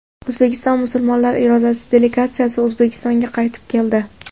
O‘zbekiston musulmonlari idorasi delegatsiyasi O‘zbekistonga qaytib keldi.